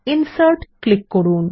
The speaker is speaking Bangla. ইনসার্ট ক্লিক করুন